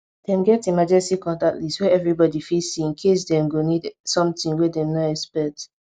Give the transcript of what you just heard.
dem get emergency contact list wey everybody fit see incase dem go need something wey dem no expect